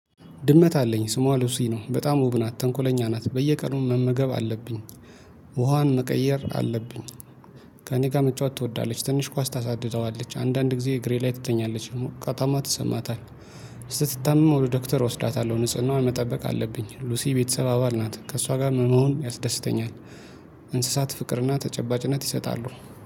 ድመት አለኝ ስሟ ሉሲ ነው በጣም ውብ ናት ተንኮለኛ ናት በየቀኑ መመገብ አለብኝ። ውሃዋን መቀየር አለብኝ። ከእኔ ጋር መጫወት ትወዳለች ትንሽ ኳስ ታሳድደዋለች አንዳንድ ጊዜ እግሬ ላይ ትተኛለች። ከጠማት ይሰማታል። ስትታመም ወደ ዶክተር እወስዳታለሁ ንጽህናዋ መጠበቅ አለብኝ። ሉሲ ቤተሰብ አባል ናት ከእሷ ጋር መሆን ያስደስተኛል። እንስሳት ፍቅርና ተጨባጭነት ይሰጣሉ